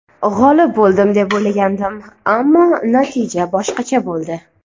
G‘olib bo‘ldim deb o‘ylagandim, ammo natija boshqacha bo‘ldi.